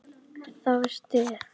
Það var stuð!